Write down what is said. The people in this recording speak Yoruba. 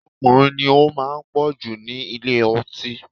Ọkùnrin ni ó máa ń pọ̀ jù ní ilé ọtí